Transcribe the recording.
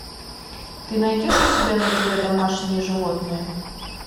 ты найдешь у себя на тв домашние животные